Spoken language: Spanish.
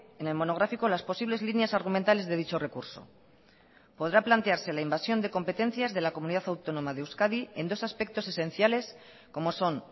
en el monográfico las posibles líneas argumentales de dicho recurso podrá plantearse la invasión de competencias de la comunidad autónoma de euskadi en dos aspectos esenciales como son